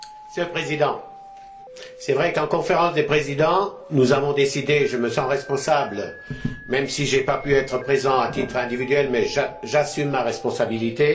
Monsieur le Président, il est vrai qu'en Conférence des présidents, nous avons pris une décision dont je me sens responsable, même si je n'ai pas pu être présent à titre individuel, mais j'assume ma responsabilité.